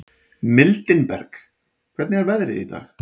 Mildinberg, hvernig er veðrið í dag?